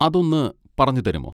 അതൊന്ന് പറഞ്ഞു തരുമോ?